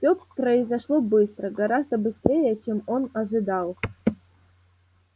всё произошло быстро гораздо быстрее чем он ожидал